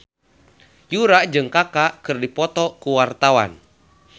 Yura jeung Kaka keur dipoto ku wartawan